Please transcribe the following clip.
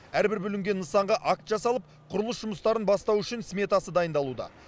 әрбір бүлінген нысанға акт жасалып құрылыс жұмыстарын бастау үшін сметасы дайындалуда